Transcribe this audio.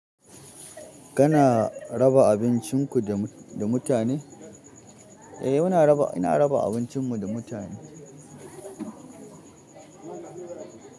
Kana raba abincinku da, da mutane? Eh, muna raba, ina raba abincinmu da mutane.